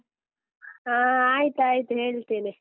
ಹಾ ಆಯ್ತಾಯ್ತು ಹೇಳ್ತೇನೆ.